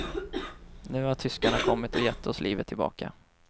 Nu har tyskarna kommit och gett oss livet tillbaka.